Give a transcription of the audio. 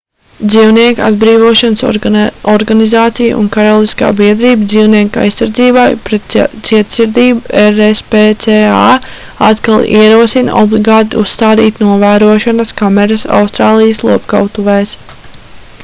dzīvnieku atbrīvošanas organizācija un karaliskā biedrība dzīvnieku aizsardzībai pret cietsirdību rspca atkal ierosina obligāti uzstādīt novērošanas kameras austrālijas lopkautuvēs